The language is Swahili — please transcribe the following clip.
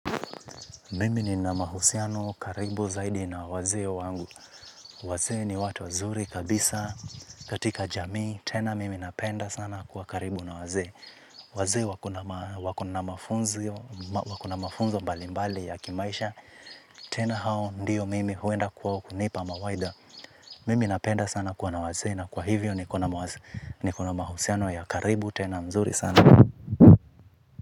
Mimi ni na mahusiano karibu zaidi na waze wangu. Waze ni watu wazuri kabisa katika jamii. Tena mimi napenda sana kuwa karibu na wazee. Waze wakona mafunzo mbali mbali ya kimaisha. Tena hao ndiyo mimi huenda kuwa kunipa mawaidha. Mimi napenda sana kuwa na waze na kwa hivyo nikona mahusiano ya karibu tena mzuri sana.